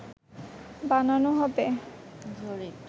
বানানো হবে